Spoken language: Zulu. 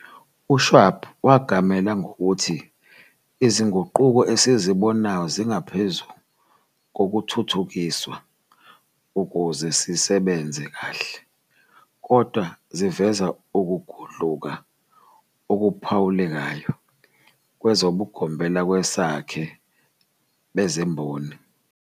U-Schwab wagamela ngokuthi izinguquko esizibonayo zingaphezu kokuthuthukiswa ukuze sisebenze kahle, kodwa ziveza ukugudluka okuphawulekayo kwezobugombelakwesakhe bezemboni.